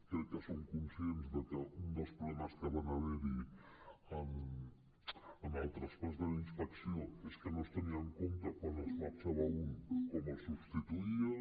crec que som conscients de que un dels problemes que van haver hi en el traspàs de la inspecció és que no es tenia en compte quan en marxava un com el substituïen